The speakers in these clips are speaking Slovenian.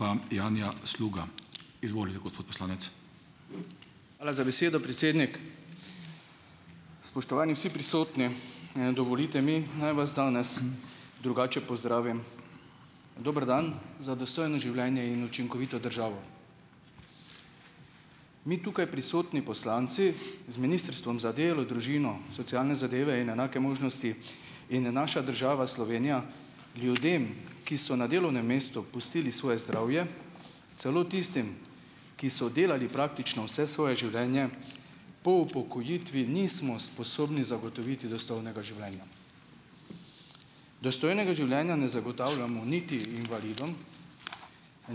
Pa Janja Sluga. Izvolite, gospod poslanec. Hvala za besedo, predsednik. Spoštovani vsi prisotni, dovolite mi, naj vas danes drugače pozdravim, dober dan za dostojno življenje in učinkovito državo, mi tukaj prisotni poslanci z ministrstvom za delo družino socialne zadeve in enake možnosti in, naša država Slovenija ljudem, ki so na delovnem mestu pustili svoje zdravje, celo tistim, ki so delali praktično vse svoje življenje, po upokojitvi nismo sposobni zagotoviti dostojnega življenja, dostojnega življenja ne zagotavljamo niti invalidom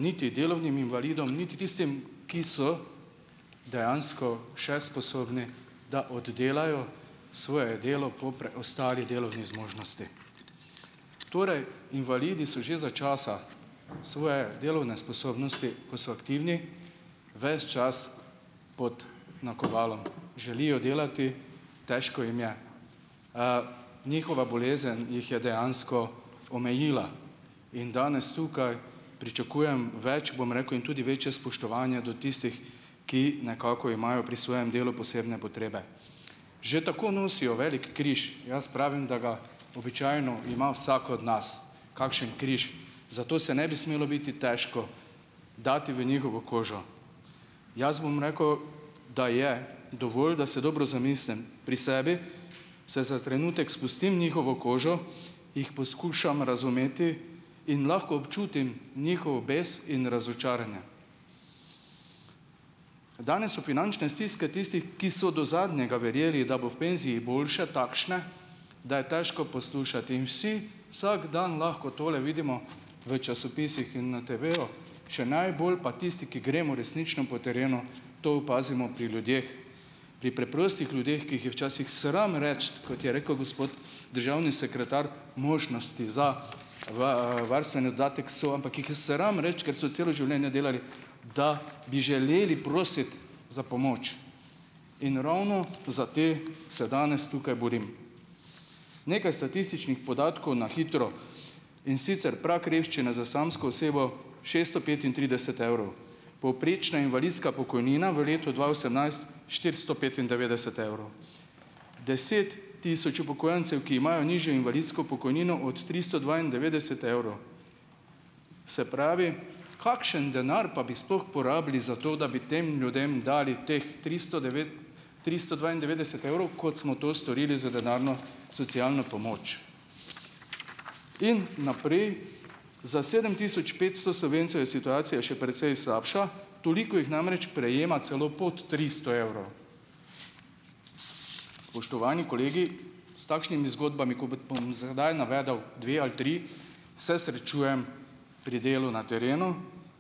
niti delavnim invalidom niti tistim, ki so dejansko še sposobni, da oddelajo svoje delo po preostali delovni zmožnosti, torej invalidi so že za časa svoje delovne sposobnosti, ko so aktivni ves čas, pod nakovalom, želijo delati, težko jim je, njihova bolezen jih je dejansko omejila in danes tukaj pričakujem več, bom rekel, in tudi večje spoštovanje do tistih, ki nekako imajo pri svojem delu posebne potrebe, že tako nosijo velik križ, jaz pravim, da ga običajno ima vsak od nas, kakšen križ, zato se ne bi smelo biti težko dati v njihovo kožo, jaz bom rekel, da je dovolj, da se dobro zamislim pri sebi, se za trenutek spustim v njihovo kožo, jih poskušam razumeti in lahko občutim njihov bes in razočaranje, danes so finančne stiske tistih, ki so do zadnjega verjeli, da bo v penziji boljše, takšne, da je težko poslušati in vsi vsak dan lahko tole vidimo v časopisih in na TV-ju še najbolj pa tisti, ki gremo resnično po terenu, to opazimo pri ljudeh, pri preprostih ljudeh, ki jih je včasih sram reči, kot je rekel gospod državni sekretar, možnosti za varstveni dodatek so, ampak jih je sram reči, ker so celo življenje delali, da bi želeli prositi za pomoč in ravno za te se danes tukaj borim, nekaj statističnih podatkov na hitro, in sicer prag revščine za samsko osebo šeststo petintrideset evrov, povprečna invalidska pokojnina v letu dva osemnajst štiristo petindevetdeset evrov, deset tisoč upokojencev, ki imajo nižjo invalidsko pokojnino od tristo dvaindevetdeset evrov, se pravi, kakšen denar pa bi sploh porabili za to, da bi tem ljudem dali teh tristo devet, tristo dvaindevetdeset evrov, kot smo to storili za denarno socialno pomoč, in naprej, za sedem tisoč petsto Slovencev je situacija še precej slabša, toliko jih namreč prejema celo pod tristo evrov, spoštovani kolegi, s takšnimi zgodbami bom zdaj navedel dve ali tri, se srečujem pri delu na terenu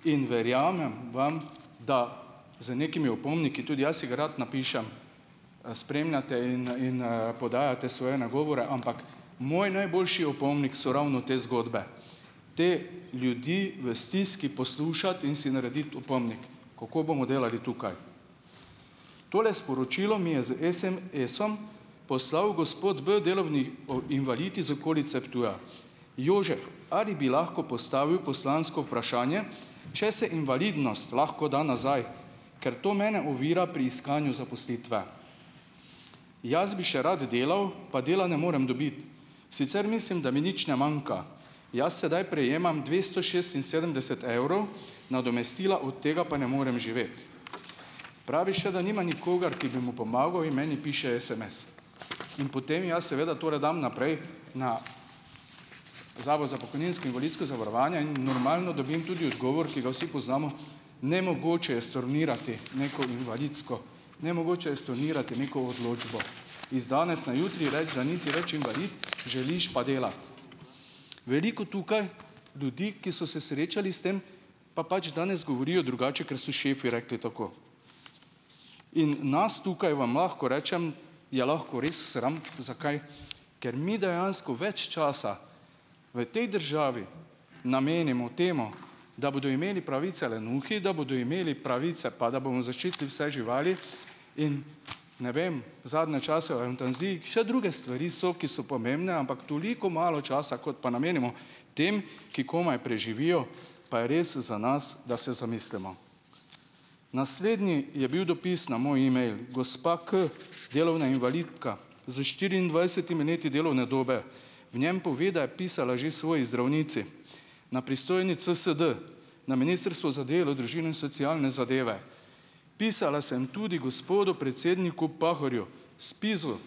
in verjamem vam, da z nekimi opomniki, tudi jaz si ga rad napišem, spremljate in, in, in podajate svoje nagovore, ampak moj najboljši opomnik so ravno te zgodbe, te ljudi v stiski poslušati in si narediti opomnik, kako bomo delali tukaj, tole sporočilo mi je s SMS-om poslal gospod b delovni o invalid iz okolice Ptuja, Jožef, ali bi lahko postavil poslansko vprašanje, če se invalidnost lahko da nazaj, ker to mene ovira pri iskanju zaposlitve, jaz bi še rad delal, pa dela ne morem dobiti, sicer mislim, da mi nič ne manjka, jaz sedaj prejemam dvesto šestinsedemdeset evrov nadomestila, od tega pa ne morem živeti, pravi še, da nima nikogar, ki bi mu pomagal, in meni piše SMS in potem jaz seveda tole dam naprej na zavod za pokojninsko invalidsko zavarovanje in normalno dobim tudi odgovor, ki ga vsi poznamo: nemogoče je stornirati neko invalidsko, nemogoče je stornirati neko odločbo, iz danes na jutri reči, da nisi več invalid, želiš pa delati, veliko tukaj ljudi, ki so se srečali s tem, pa pač danes govorijo drugače, ker so šefi rekli tako, in nas tukaj, vam lahko rečem, je lahko res sram zakaj, ker mi dejansko več časa v tej državi namenimo temu, da bodo imeli pravice lenuhi, da bodo imeli pravice pa da bomo zaščitili vse živali in ne vem, zadnje čase o evtanaziji še druge stvari so, ki so pomembne, ampak toliko malo časa, kot pa namenimo tem, ki komaj preživijo, pa je res za nas, da se zamislimo, naslednji je bil dopis na moj email, gospa K, delovna invalidka, s štiriindvajsetimi leti delovne dobe, v njem pove, da je pisala že svoji zdravnici na pristojni CSD na ministrstvu za delo, družino in socialne zadeve, pisala sem tudi gospodu predsedniku Pahorju, SPIZ-u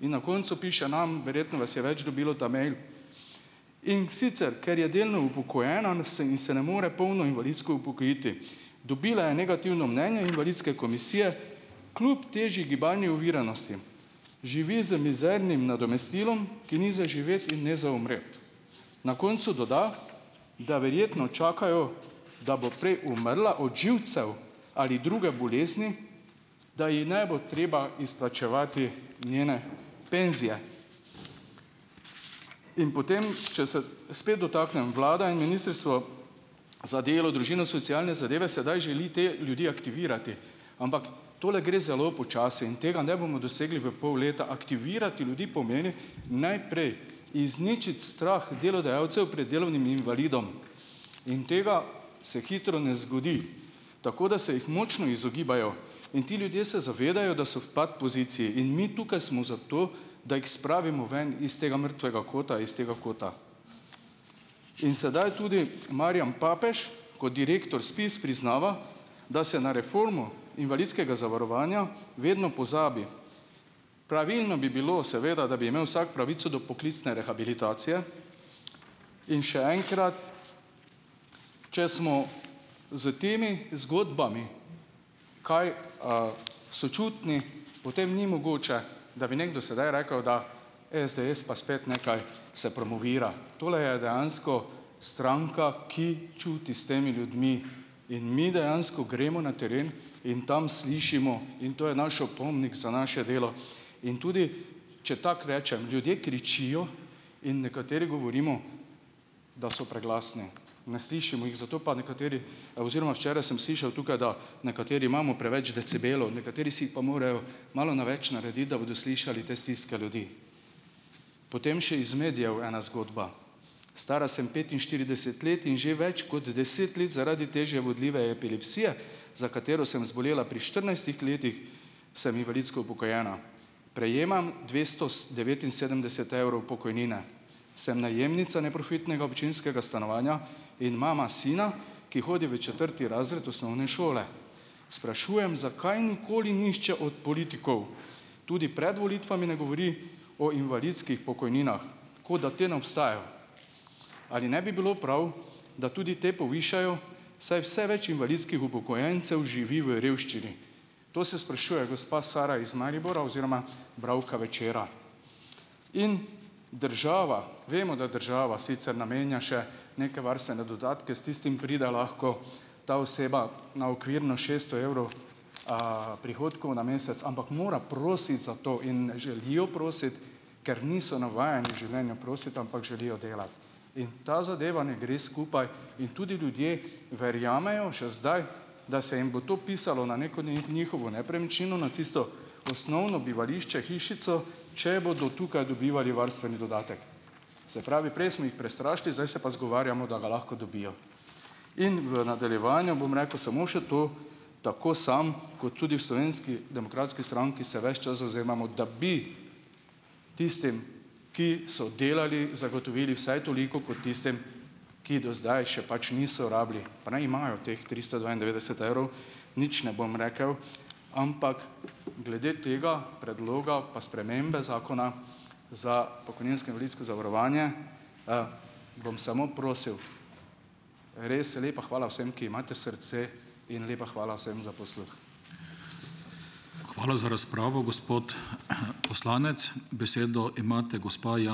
in na koncu piše nam, verjetno vas je več dobilo ta mail, in sicer, ker je delno upokojena, se ni, se ne more polno invalidsko upokojiti, dobila je negativno mnenje invalidske komisije kljub težji gibalni oviranosti živi z mizernim nadomestilom, ki ni za živeti in ne za umreti, na koncu doda, da verjetno čakajo, da bo prej umrla od živcev ali druge bolezni, da ji ne bo treba izplačevati njene penzije, in potem če se spet dotaknem vlade in ministrstva za delo, družino, socialne zadeve, sedaj želi te ljudi aktivirati, ampak tole gre zelo počasi in tega ne bomo dosegli v pol leta, aktivirati ljudi pomeni najprej izničiti strah delodajalcev pred delovnim invalidom in to se hitro ne zgodi, tako da se jih močno izogibajo, in ti ljudje se zavedajo, da so v pat poziciji, in mi tukaj smo zato, da jih spravimo ven iz tega mrtvega kota, iz tega kota, in sedaj tudi Marjan Papež kot direktor SPIZ priznava, da se na reformo invalidskega zavarovanja vedno pozabi, pravilno bi bilo seveda, da bi imel vsak pravico do poklicne rehabilitacije, in še enkrat, če smo s temi zgodbami kaj, sočutni, potem ni mogoče, da bi nekdo sedaj rekel, da SDS pa spet nekaj se promovira, tole je dejansko stranka, ki čuti s temi ljudmi, in mi dejansko gremo na teren in tam slišimo in to je naš opomnik za naše delo in tudi, če tako rečem, ljudje kričijo in nekateri govorimo, da so preglasni, ne slišimo jih, zato pa nekateri, oziroma včeraj sem slišal tukaj, da nekateri imamo preveč decibelov, nekateri si jih pa morajo malo na več narediti, da bodo slišali te stiske ljudi, potem še iz medijev ena zgodba. Stara sem petinštirideset let in že več kot deset let zaradi težje vodljive epilepsije, za katero sem zbolela pri štirinajstih letih, sem invalidsko upokojena, prejemam dvesto devetinsedemdeset evrov pokojnine, sem najemnica neprofitnega občinskega stanovanja in mama sina, ki hodi v četrti razred osnovne šole. Sprašujem, zakaj nikoli nihče od politikov tudi pred volitvami ne govori o invalidskih pokojninah, kot da te ne obstajajo, ali ne bi bilo prav, da tudi te povišajo, saj vse več invalidskih upokojencev živi v revščini. To se sprašuje gospa Sara iz Maribora oziroma bralka Večera. In država, vemo, da država sicer namenja še neke varstvene dodatke, s tistim pride lahko ta oseba na okvirno šeststo evrov, a prihodkov na mesec, ampak mora prositi za to, in ne želijo prositi, ker niso navajeni življenja prositi, ampak želijo delati, in ta zadeva ne gre skupaj in tudi ljudje verjamejo še zdaj, da se jim bo to pisalo na neko njihovo nepremičnino, na tisto osnovno bivališče hišico, če bodo tukaj dobivali varstveni dodatek, se pravi, prej smo jih prestrašili, zdaj se pa izgovarjamo, da ga lahko dobijo, in v nadaljevanju bom rekel samo še to, tako samo, kot tudi v Slovenski demokratski stranki se ves čas zavzemamo, da bi tistim, ki so delali, zagotovili vsaj toliko kot tistim, ki do zdaj še pač niso rabili, pa naj imajo teh tristo dvaindevetdeset evrov, nič ne bom rekel, ampak glede tega predloga pa spremembe zakona za pokojninsko invalidsko zavarovanje, bom samo prosil. Res lepa hvala vsem, ki imate srce, in lepa hvala vsem za posluh. Hvala za razpravo, gospod poslanec. Besedo imate gospa ...